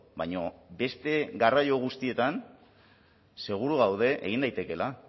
baina beste garraio guztietan seguru gaude egin daitekeela